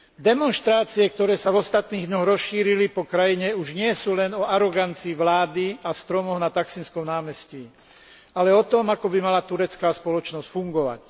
Demonštrácie, ktoré sa v ostatných dňoch rozšírili po krajine, už nie sú len o arogancii vlády a stromoch na Taksimskom námestí, ale o tom, ako by mala turecká spoločnosť fungovať.